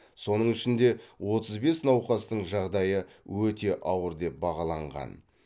соның ішінде отыз бес науқастың жағдайы өте ауыр деп бағаланған